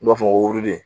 U b'a fɔ woroden